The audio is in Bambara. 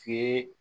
F'i